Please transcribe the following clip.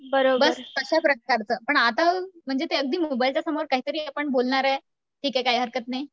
बस तश्या प्रकारचं पण आता म्हणजे ते अगदी मोबाईलच्या समोर काहीतरी आपण बोलणार आहे, ठीक आहे काही हरकत नाही.